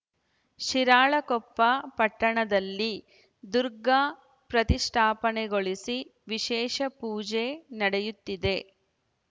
ಶಿರಾಳಕೊಪ್ಪ ಪಟ್ಟಣದಲ್ಲಿ ದುರ್ಗಾ ಪ್ರತಿಷ್ಠಾಪನೆಗೊಳಿಸಿ ವಿಶೇಷ ಪೂಜೆ ನಡೆಯುತ್ತಿದೆ